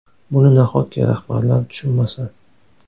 Buni nahotki rahbarlar tushunmasa?!